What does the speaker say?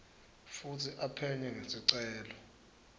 futsi aphenye ngesicelo